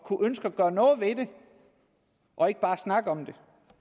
og ønske at gøre noget ved det og ikke bare snakke om det